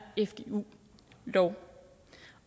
fgu lov